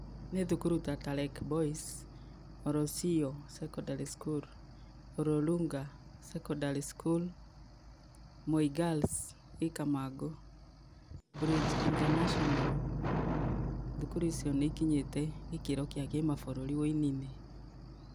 Nĩ thukuru ta -Talek Boys, Olosio Secondary School, Ololunga Secondary School, Moi Girls ĩ Kamangũ, Bridge International. Thukuru icio nĩ ikinyĩte gĩkĩro gĩa kĩmabũrũri ũini-inĩ.